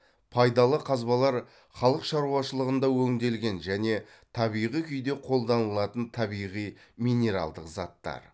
пайдалы қазбалар халық шаруашылығында өңделген және табиғи күйде қолданылатын табиғи минералдық заттар